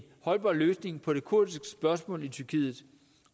holdbar løsning på det kurdiske spørgsmål i tyrkiet